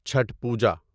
Chhath Puja